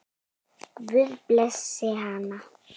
Guð blessi hana.